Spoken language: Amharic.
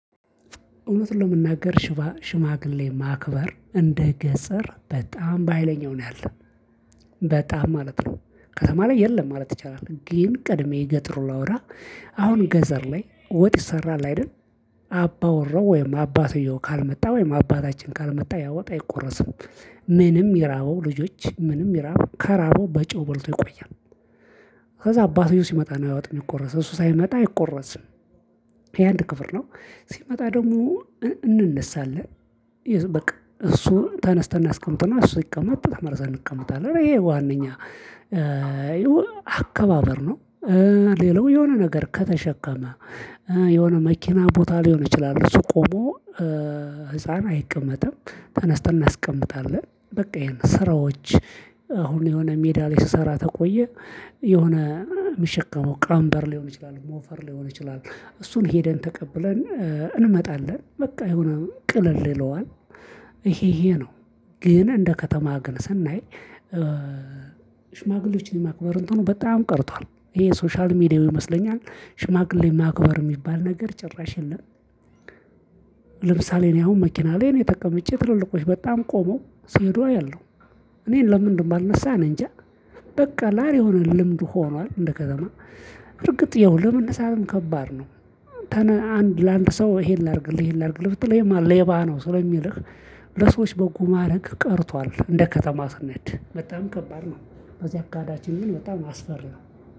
እውነቱን ለመናገር ሽማግሌ ማክበር እንደ ገጸር በጣም በሃይለኛው ነው ያለ በጣም ማለት ነው። ከተማ ላይ የለም ማለት ይቻላል ግን ቀድሜ የገጠሩን ላውራ አሁን ገዘር ላይ ወጥ ይሰራል አይደል። አባ ወራው ወይም አባትየው ካልመጣ ወይም አባታችን ካልመጣ ያ ወጥ አይቆረስም። ምንም ይራበው ልጆች ምንም ይራብ ከራበው በጨው በልቶ ይቆያል። ከዛ አባትየው ሲመጣ ነው ያ ወጥ ሚቆረሰው እሱ ሳይመጣ አይቆረስም። ይሄ አንድ ክፍር ነው። ሲመጣ ደሞ እንነሳለን። በቃ እሱን ተነስተን እናስቀምጥና እሱ ሲቀመጥ ተመልሰን እንቀመጣለን ተማሪዛን ይሄ ዋነኛ አከባበር ነው። ሌላው የሆነ ነገር ከተሸከመ የሆነ መኪና ቦታ ሊሆን ይችላል እሱ ቆሞ ህፃን አይቀመጥም። ተነስተን እናስቀምጣለን በቃ ይሄን ስራዎች አሁን የሆነ ሜዳ ላይ ስሰራ ተቆየ። የሆነ የሚሸከመው ቀምበር ሊሆን ይችላል ሞፈር ሊሆን ይችላል። እሱን ሄደን ተቀብለን እንመጣለን በቃ የሆነ ቅልል ይለዋል። ይሄ ይሄ ነው። ግን እንደ ከተማ ግን ስናይ ሽማግሌዎችን የማክበር እንትኑ በጣም ቀርቷል ይሄ ሶሻል ሚዲያው ይመስለኛል ሽማግሌ ማክበር የሚባል ነገር ጭራሽ የለም። ለምሳሌ እኔ አሁን መኪና ላይ እኔ ተቀምጬ ትልልቆች በጣም ቆመው ሲሄዱ አያለሁ። እኔን ለምን እንደማልነሳ እኔ እንጃ። በቃ አለ አደል የሆነ ልምድ ሆኗል እንደ ከተማ እርግጥ ይኸው ለመነሳትም ከባድ ነው። አንድ ለአንድ ሰው ይሄን ላድርግ ይሄን ላድርግ ብትለው ይሄማ ሌባ ነው ስለሚልህ ለሰዎች በጎ ማድረግ ቀርቷል እንደ ከተማ ስንሄድ በጣም ከባድ ነው። በዚህ አካሄዳችን ግን በጣም አስፈሪ ነው